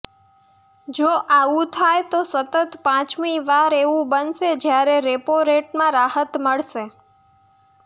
જો આવુ થાય તો સતત પાંચમી વાર એવું બનશે જ્યારે રેપો રેટમાં રાહત મળશે